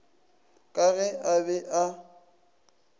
ka ge a be a